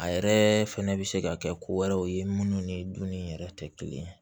A yɛrɛ fɛnɛ bɛ se ka kɛ ko wɛrɛw ye minnu ni dunni yɛrɛ tɛ kelen ye